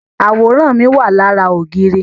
Àwòrán mi wà lára ògiri